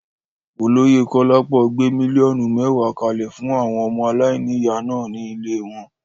Olóyè Kolapo gbé míllíọ̀nù mẹ́wàá kalẹ̀ fún àwọn ọmọ aláìníyà náà ní ilée wọn.